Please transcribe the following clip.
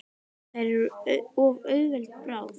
Þær eru of auðveld bráð.